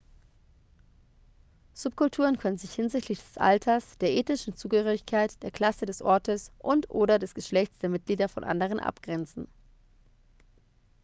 subkulturen können sich hinsichtlich des alters der ethnischen zugehörigkeit der klasse des ortes und/oder des geschlechts der mitglieder von anderen abgrenzen